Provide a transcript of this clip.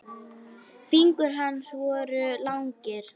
Fingur hans voru langir.